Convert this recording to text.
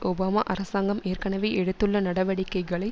Obama அரசாங்கம் ஏற்கனவே எடுத்துள்ள நடவடிக்கைகளை